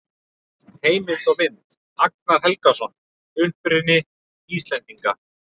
Heimildir og mynd: Agnar Helgason: Uppruni Íslendinga.